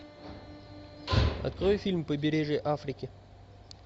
открой фильм побережье африки